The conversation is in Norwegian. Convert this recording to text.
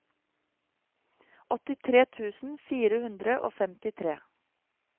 åttitre tusen fire hundre og femtitre